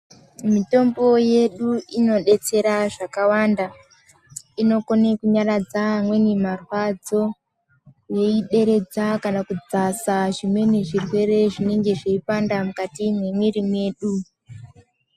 Mitombo yedu inodetsera zvakawanda inokone kunyaradza amweni marwadzo yeideredza kana kudzasa zvimweni zvirwere zvinenge zveipanda mukati mwemwiri mwedu